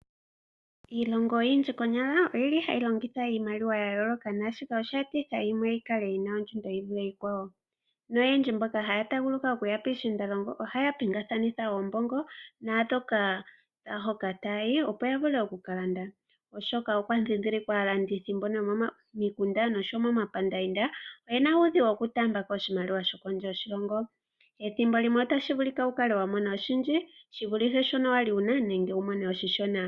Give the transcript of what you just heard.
Iilongo oyindji konyala oyi li hayi longitha iimaliwa ya yooloka. Naashika osha etitha opo yimwe yi kale yi na ondjundo yi vule iikwawo. Noyendji mboka haya taguluka okuya kiishiindalongo ohaya pingakanitha oombongo naahoka taa yi, opo ya vule oku ka landa, oshoka okwa ndhindhilikwa aalandithi mbono yomomikunda nosho wo momapandaanda oye na uudhigu wokutaamba ko oshimaliwa shokondje yoshilongo. Ethimbo limwe otashi vulika wu kale wa mona oshindji shi shono wa li wu na nenge wu mone oshishona.